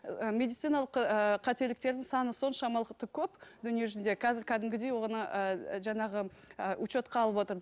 ы медициналық ыыы қателіктердің саны көп дүние жүзінде қазір қәдімгідей оны ы жаңағы ы учетқа алып отыр